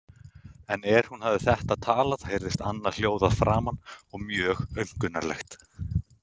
En er hún hafði þetta talað heyrðist annað hljóð að framan og mjög aumkunarlegt.